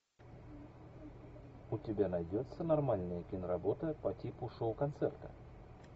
у тебя найдется нормальная киноработа по типу шоу концерта